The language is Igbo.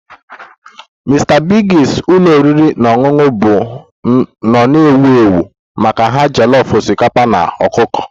Mr Biggs ụlọ oriri na ọṅụṅụ bụ nnọọ ewu ewu maka ha jollof osikapa na ọkụkọ